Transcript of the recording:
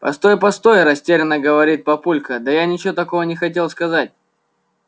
постой постой растеряно говорит папулька да я ничего такого не хотел сказать